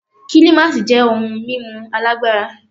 Kílímásì jẹ́ ohun mímu alágbára.